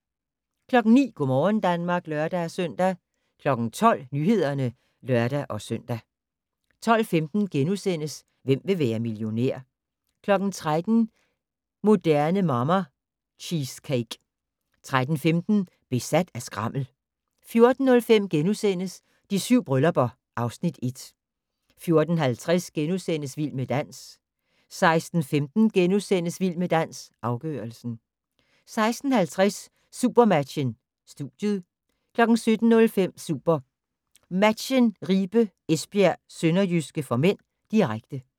09:00: Go' morgen Danmark (lør-søn) 12:00: Nyhederne (lør-søn) 12:15: Hvem vil være millionær? * 13:00: Moderne Mamma - Cheesecake 13:15: Besat af skrammel 14:05: De 7 bryllupper (Afs. 1)* 14:50: Vild med dans * 16:15: Vild med dans - afgørelsen * 16:50: Supermatchen: Studiet 17:05: SuperMatchen: Ribe/Esbjerg-Sønderjyske (m), direkte